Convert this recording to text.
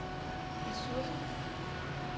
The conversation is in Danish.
ressourcer